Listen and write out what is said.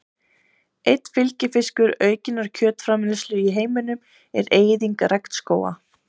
Einn fylgifiskur aukinnar kjötframleiðslu í heiminum er eyðing regnskóga.